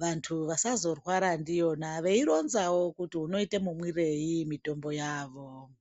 vanthu vasazorwara ndiyona veironzawo kuti unoite mumwirei mitombo yavo.